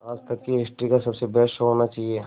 आज तक की हिस्ट्री का सबसे बेस्ट शो होना चाहिए